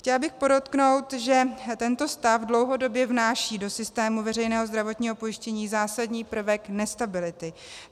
Chtěla bych podotknout, že tento stav dlouhodobě vnáší do systému veřejného zdravotního pojištění zásadní prvek nestability.